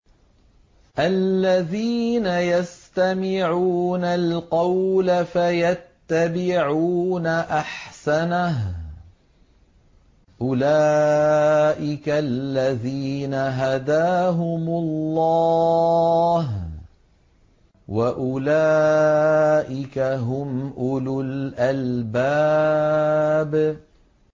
الَّذِينَ يَسْتَمِعُونَ الْقَوْلَ فَيَتَّبِعُونَ أَحْسَنَهُ ۚ أُولَٰئِكَ الَّذِينَ هَدَاهُمُ اللَّهُ ۖ وَأُولَٰئِكَ هُمْ أُولُو الْأَلْبَابِ